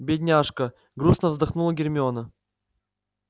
бедняжка грустно вздохнула гермиона